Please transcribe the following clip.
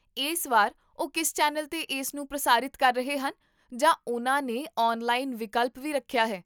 ਇਸ ਵਾਰ ਉਹ ਕਿਸ ਚੈਨਲ 'ਤੇ ਇਸ ਨੂੰ ਪ੍ਰਸਾਰਿਤ ਕਰ ਰਹੇ ਹਨ ਜਾਂ ਉਨ੍ਹਾਂ ਨੇ ਔਨਲਾਈਨ ਵਿਕਲਪ ਵੀ ਰੱਖਿਆ ਹੈ?